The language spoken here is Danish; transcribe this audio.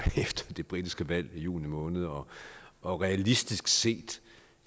efter det britiske valg i juni måned og og realistisk set